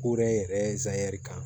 Ko wɛrɛ yɛrɛ ye zɛri kan